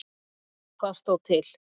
Hvað stóð til?